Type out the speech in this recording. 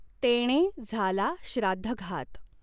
तेणें झाला श्राद्धघात।